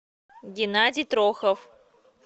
геннадий трохов